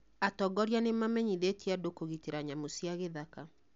Atongoria nĩ mamenyithitĩe andu kũgitĩra nyamũ cia gĩthaka.